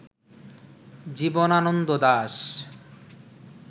Jibanananda Das